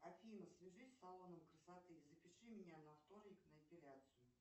афина свяжись с салоном красоты запиши меня на вторник на эпиляцию